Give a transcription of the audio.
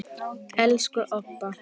Elsku Obba.